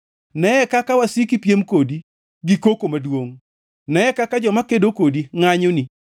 Neye kaka wasiki piem kodi gi koko maduongʼ. Neye kaka joma kedo kodi ngʼanyoni.